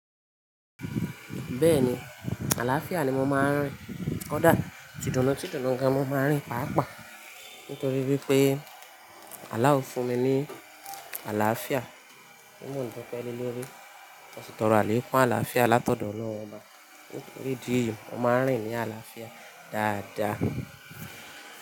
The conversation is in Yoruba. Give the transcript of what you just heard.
Bẹ́ẹ̀ni, àlàáfíà ni mo máa ń rìn. Kódà tìdùnù tìdùnù gan mo máa ń rìn pàápàá nítorí wípé àláò fún mi ní àlàáfíà. Tí mo ń dupẹ́ le lórí, mo sì tọrọ àlẹ́kún àlàáfíà látọ̀dọ̀ Ọlọ́run. Ò bá nítorí ìdí èyí, mo máa ń rìn ní àlàáfíà dáadáa.